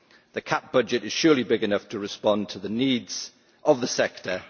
The CAP budget is surely big enough to respond to the needs of the sector.